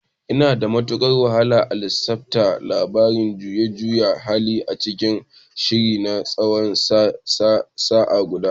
Yana da matukar wahala a lissafta labarin juyin juya hali a cikin shirin na tsawon sa'a guda.